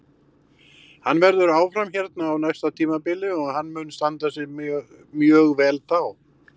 Hann verður áfram hérna á næsta tímabili og hann mun standa sig mjög vel þá.